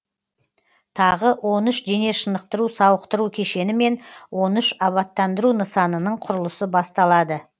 тағы он үш дене шынықтыру сауықтыру кешені мен он үш абаттандыру нысанының құрылысы басталады